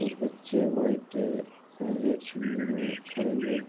कुछ बच्चे white and red चूनरी में खड़े हुए है।